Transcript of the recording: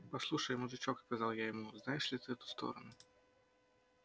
послушай мужичок сказал я ему знаешь ли ты эту сторону